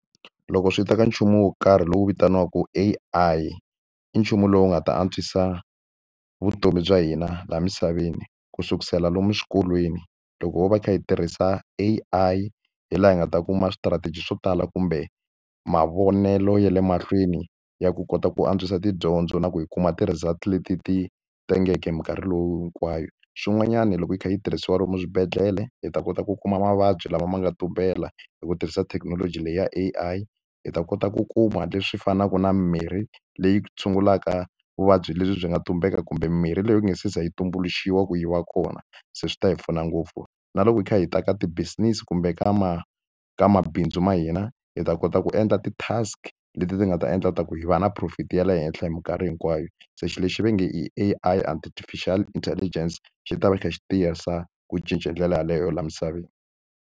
Loko swi ta ka nchumu wo karhi lowu vitaniwaka A_I, i nchumu lowu nga ta antswisa vutomi bya hina laha misaveni. ku sukela lomu xikolweni, loko ho va hi kha hi tirhisa A_I hi laha hi nga ta kuma swi-strategy swo tala kumbe mavonelo ya le mahlweni ya ku kota ku antswisa tidyondzo na ku yi kuma ti-results leti ti tengeke hi mikarhi loyi hinkwayo. Xin'wanyana loko yi kha yi tirhisiwa lomu swibedhlele hi ta kota ku kuma mavabyi lama ma nga tumbela, hi ku tirhisa thekinoloji leyi ya A_I. Hi ta kota ku kuma leswi fanaka na mimirhi leyi tshungulaka vuvabyi lebyi byi nga tumbela kumbe mimirhi leyi yi nga se za yi tumbuluxiwa ku yi va kona. Se swi ta hi pfuna ngopfu. Na loko hi kha hi ta ka ti-business kumbe ka ka mabindzu ma hina, hi ta kota ku endla ti-task leti ti nga ta endla leswaku hi va na profit ya le henhla hi minkarhi hinkwayo. Se xilo lexi va nge A_I artificial intelligence, xi ta va xi kha xi tisa ku cinca hi ndlela yaleyo laha misaveni.